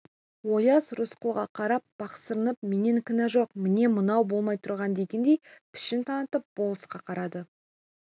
ояз рысқұлға қарап пақырсынып менен кінә жоқ міне мынау болмай тұрған дегендей пішін танытып болысқа қарады